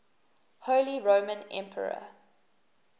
holy roman emperor